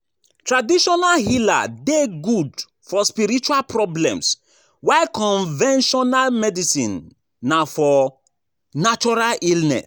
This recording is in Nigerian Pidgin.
Traditional healer de good for spiritual problems while conventional medicine na for natural illness